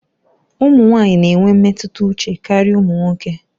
Ụmụ nwanyị na-enwe mmetụta uche karịa ụmụ nwoke.